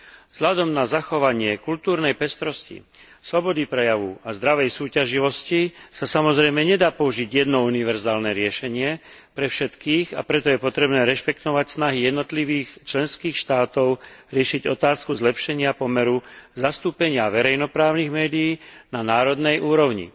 Vzhľadom na zachovanie kultúrnej pestrosti, slobody prejavu a zdravej súťaživosti sa samozrejme nedá použiť jedno univerzálne riešenie pre všetkých, a preto je potrebné rešpektovať snahy jednotlivých členských štátov riešiť otázku zlepšenia pomeru zastúpenia verejnoprávnych médií na národnej úrovni.